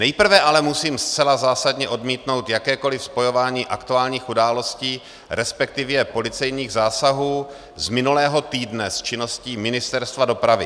Nejprve ale musím zcela zásadně odmítnout jakékoliv spojování aktuálních událostí, respektive policejních zásahů z minulého týdne, s činností Ministerstva dopravy.